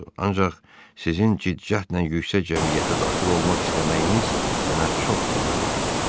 Ancaq sizin cidd-cəhdlə yüksək cəmiyyətə daxil olmaq istəməyiniz mənə çox gülməli görünür.